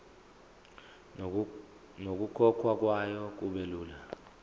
nokukhokhwa kwayo kubelula